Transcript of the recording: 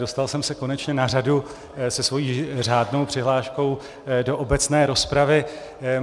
Dostal jsem se konečně na řadu se svojí řádnou přihláškou do obecné rozpravy.